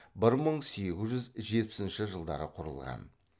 бір мың сегіз жүз жетпісінші жылдары құрылған